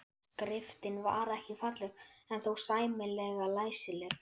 Skriftin var ekki falleg en þó sæmilega læsileg.